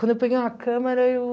Quando eu peguei uma câmera, eu...